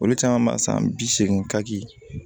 Olu caman b'a san bi seegin ka di